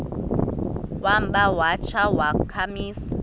wamba tsha wakhamisa